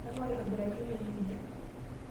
Kang'u aitobiraki emee nejia?